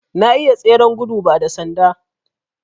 Na iya tseren gudun ba da sanda